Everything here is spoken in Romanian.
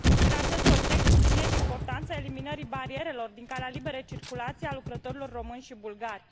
În acest context, subliniez importanța eliminării barierelor din calea liberei circulații a lucrătorilor români și bulgari.